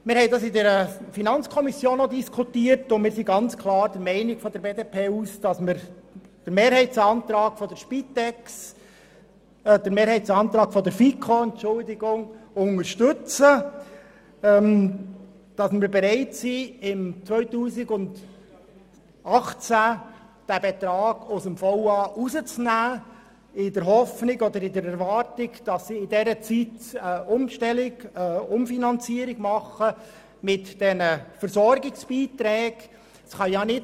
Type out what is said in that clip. Wir haben auch in der FiKo darüber diskutiert und sind seitens der BDP klar der Meinung, dass wir den Mehrheitsantrag der FiKo unterstützen und bereit sind, im Jahr 2018 den Betrag aus dem VA zu lösen, in der Hoffnung oder in der Erwartung, dass die Spitex während dieser Zeit eine Umfinanzierung bei den Versorgungsbeiträgen vornimmt.